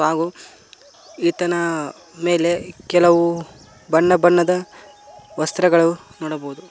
ಹಾಗು ಈತನ ಮೇಲೆ ಕೆಲವು ಬಣ್ಣ ಬಣ್ಣದ ವಸ್ತ್ರಗಳು ನೋಡಬಹುದು.